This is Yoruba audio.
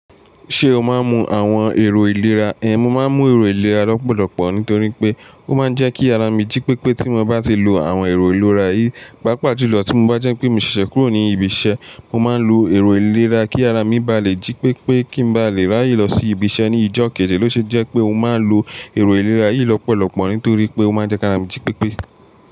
Ṣé o máa ń mu àwọn èrò ìlera ẹ́? Mo máa ń mu èrò ìlera lọ́pọ̀lọpọ̀ nítorí pé ó máa ń jẹ́ kí ara mi jí pépé tí mo bá ti lo àwọn èrò ìlera yìí, pàápàá júlọ tí mo bá jẹ́ pé mi ṣẹ̀ṣẹ̀ kúrò ní ibi iṣẹ́, mo máa ń lo èrò ìlera kí ara mi bá lè jí pépé kí n bá lè ráyè lọ sí ibi iṣẹ́ ní ijó kejì Ó ṣe jẹ́ pé mo máa ń lo èrò ìlera yìí lọ́pọ̀lọpọ̀ nítorí pé ó máa ń jẹ́ kí ara mi jí pépé.